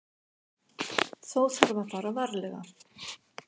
Þó þarf að fara varlega.